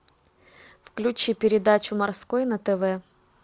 включи передачу морской на тв